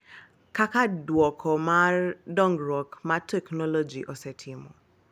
Kaka duoko mar dongruok ma teknoloji osetimo.